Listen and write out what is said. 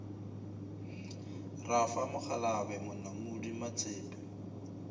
ra fa mokgalabje monamodi matsepe